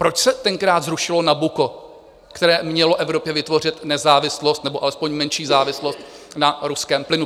Proč se tenkrát zrušilo Nabucco, které mělo Evropě vytvořit nezávislost nebo alespoň menší závislost na ruském plynu?